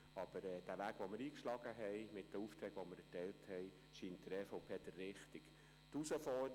Aber der Weg, den wir mit der Erteilung der Aufträge eingeschlagen haben, scheint der EVP der richtige zu sein.